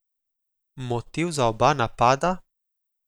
Motiv za oba napada?